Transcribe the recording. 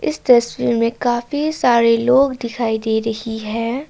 इस दृश्य में काफी सारे लोग दिखाई दे रही है।